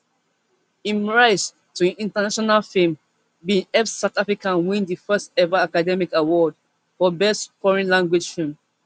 im rise to international fame bin help south africa win di firstever academy award for best foreign language film